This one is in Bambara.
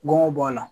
Gɔngɔn b'a la